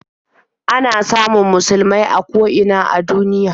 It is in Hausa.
Ana samun musulmai a ko ina a duniya.